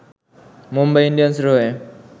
মুম্বাই ইন্ডিয়ান্সের হয়ে